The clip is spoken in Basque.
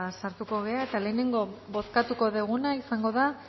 sartuko gara eta lehenengo bozkatuko duguna izango da